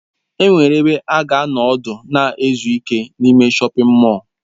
Enwere ebe ị ga-anọ ọdụ na izu ike n'ime shọpin mọll.